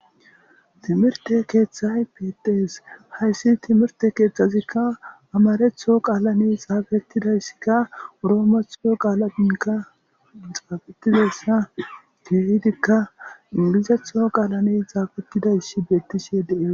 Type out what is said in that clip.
Timirte keeththay peetees hayssi timirte keeththazikka amaretho qaalane xaafetidayssikka uroomexo qaalainka xaafetidayssa geehidikka ingilizetho qaalane xaafetidayssi bettishe dee.